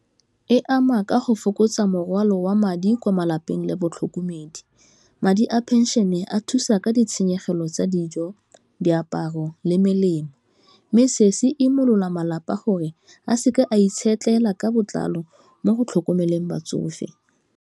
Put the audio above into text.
E ama ka go fokotsa morwalo wa madi kwa malapeng le batlhokomedi, madi a phenšene a thusa ka ditshenyegelo tsa dijo, diaparo, le melemo, mme se se imolola malapa a gore a seke a itshetlela ka botlalo mo go tlhokomeleng batsofe.